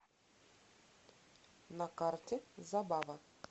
на карте забава